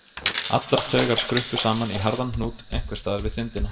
Allar taugar skruppu saman í harðan hnút einhvers staðar við þindina.